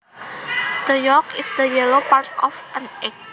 The yolk is the yellow part of an egg